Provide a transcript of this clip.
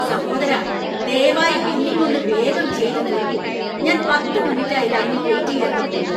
സഹോദരാ, ദയവായി ബില്ലിങ് ഒന്ന് വേഗം ചെയ്തു തീര്‍ക്കൂ! ഞാൻ പത്ത് മിനിറ്റായി ലൈനിൽ വെയിറ്റ് ചെയ്യാൻ തുടങ്ങിയിട്ട്.